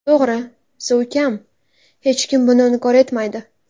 To‘g‘ri, suv kam, hech kim buni inkor etmaydi.